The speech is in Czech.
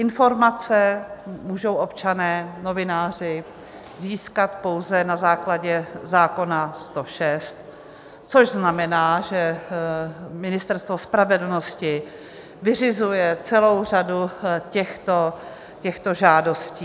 Informace můžou občané, novináři získat pouze na základě zákona 106, což znamená, že Ministerstvo spravedlnosti vyřizuje celou řadu těchto žádostí.